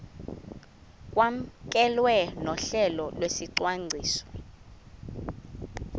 kwamkelwe nohlelo lwesicwangciso